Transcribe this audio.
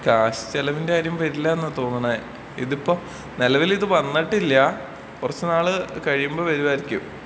Cash ചിലവിന്റെ കാര്യം വരില്ലാന്നാ തോന്നുന്നേ. ഇതിപ്പൊ നിലവിലിത് വന്നിട്ടില്ലാ. കൊറച്ച് നാള് കഴിയുമ്പൊ വരുവായിരിക്കും.